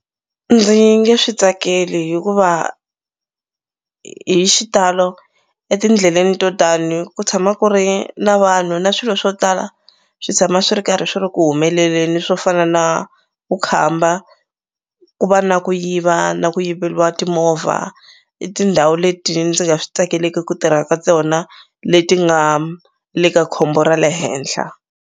Ndzi nge swi tsakeli hikuva hi xitalo etindleleni to tani ku tshama ku ri na vanhu na swilo swo tala swi tshama swi ri karhi swi ri ku humeleleni swo fana na vukhamba ku va na ku yiva na ku yiveliwa timovha i tindhawu leti ndzi nga swi tsakeleki ku tirha ka tona leti nga le ka khombo ra le henhla.